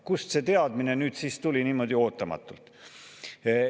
Kust see teadmine nüüd siis niimoodi ootamatult tuli?